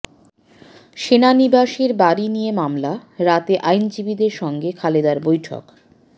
সেনানিবাসের বাড়ি নিয়ে মামলা রাতে আইনজীবীদের সঙ্গে খালেদার বৈঠক